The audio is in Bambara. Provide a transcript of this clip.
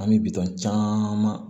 An bɛ bitɔn caman